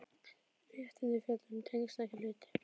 Réttindi fjalli um tengsl, ekki hluti.